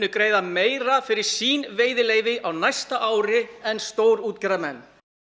greiða meira fyrir sín veiðileyfi á næsta ári en stórútgerðarmenn